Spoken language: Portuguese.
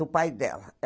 Do pai dela.